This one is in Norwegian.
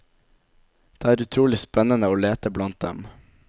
Det er utrolig spennende å lete blant dem.